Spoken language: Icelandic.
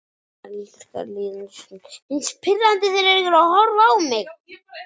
Elska líðandi stund.